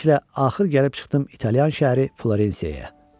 Beləliklə axır gəlib çıxdım İtaliyan şəhəri Florensiyaya.